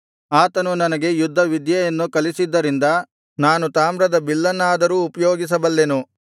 ಆತನು ನನಗೆ ಯುದ್ಧ ವಿದ್ಯೆಯನ್ನು ಕಲಿಸಿದ್ದರಿಂದ ನಾನು ತಾಮ್ರದ ಬಿಲ್ಲನ್ನಾದರೂ ಉಪಯೋಗಿಸಬಲ್ಲೆನು